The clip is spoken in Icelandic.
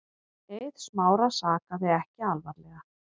Eið Smára sakaði ekki alvarlega.